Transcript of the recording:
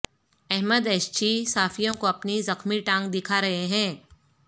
Ahmad Ishchi صحافیوں کو اپنی زخمی ٹانگ دکھا رہے ہیں